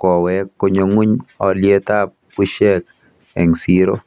kowek konyo ng'uny alyetap bushek eng siro.